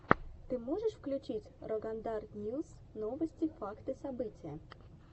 ты можешь включить рогандар ньюс новости факты события